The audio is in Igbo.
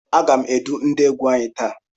A gá m edu ndị égwu anyị taa.